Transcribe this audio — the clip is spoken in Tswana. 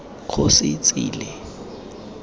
kgosietsile